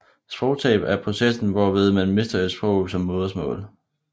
Sprogtab er processen hvorved man mister et sprog som modersmål